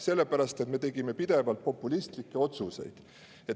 Selle pärast, et me tegime pidevalt populistlikke otsuseid.